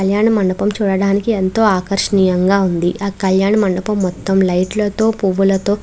కళ్యాణ మండపం చూడడానికి ఎంతో ఆకర్షియంగా వుంది. ఆ కళ్యాణ మండపం మొత్తం లైట్ లతో పూల తో నిండి వున్నాయ్.